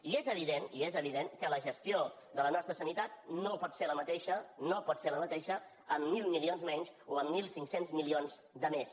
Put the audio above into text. i és evident i és evident que la gestió de la nostra sanitat no pot ser la mateixa no pot ser la mateixa amb mil milions menys o amb mil cinc cents milions de més